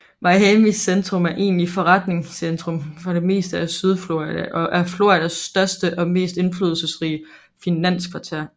Miamis centrum er egentlig forretningscentrum for det meste af sydflorida og er Floridas største og mest indflydelsesrige finanskvarter